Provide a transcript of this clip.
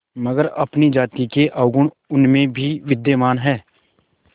मगर अपनी जाति के अवगुण उनमें भी विद्यमान हैं